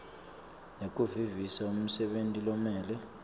nekuvisisa umsebenti lomele